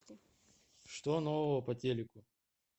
что нового по телеку